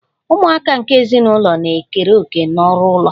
Ụmụaka nke ezinụlọ na-ekere òkè n'ọrụ ụlọ